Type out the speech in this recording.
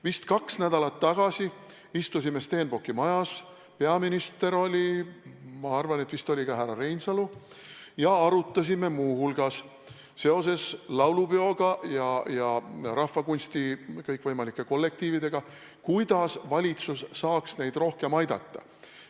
Vist kaks nädalat tagasi istusime Stenbocki majas – peaminister oli kohal ja ma arvan, et vist oli ka härra Reinsalu kohal – ja arutasime muu hulgas laulupeo ja kõikvõimalike rahvakunstikollektiivide probleeme, seda, kuidas valitsus saaks neid rohkem aidata.